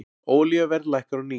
Olíuverð lækkar á ný